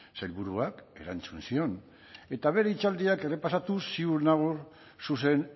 sailburuak erantzun zion eta bere hitzaldia errepasatuz ziur nago zuzen